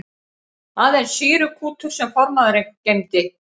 Aðeins sýrukútur sem formaðurinn geymdi.